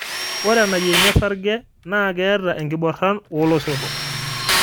ore enaiyiengi osarge na keeta enkiboran oo loisotok